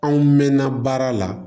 Anw mɛnna baara la